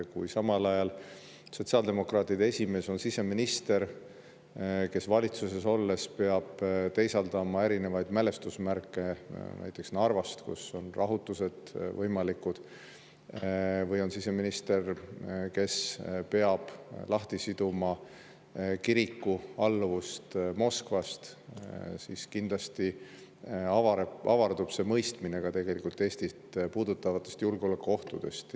Kui samal ajal sotsiaaldemokraatide esimees on siseminister, kes valitsuses olles peab teisaldama erinevaid mälestusmärke – näiteks Narvast, kus on rahutused võimalikud –, või on siseminister, kes peab kiriku lahtisidumise Moskvast, siis kindlasti avardub ka mõistmine Eestit puudutavatest julgeolekuohtudest.